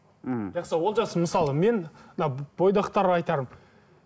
мхм жақсы олжас мысалы мен мына бойдақтарға айтарым